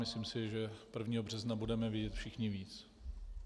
Myslím si, že 1. března budeme vědět všichni víc.